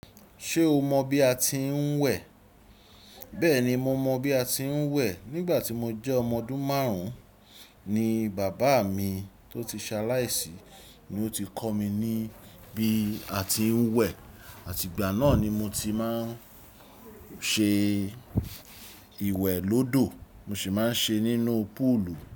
Ṣé o mọ bí a ti ń wẹ̀? Bẹ́ẹ̀ni, mo mọ bí a ti ń wẹ̀. Nígbà tí mo jẹ́ ọmọ ọdún márùn-ún ni bàbá mi tó ti ṣaláìsí ni ó ti kọ́ mi ní bí a ti ń wẹ̀. Àti ìgbà náà ni mo ti máa ń ṣe ìwẹ̀ lódò, mo sì máa ń ṣe nínú púùlù.